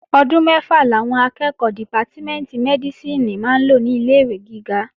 Ọdún mẹ́fà làwọn akẹ́ẹ̀kọ́ dìpátímẹ̀ntì Mẹ́dísìnì máa lò ní ilé-ìwé gíga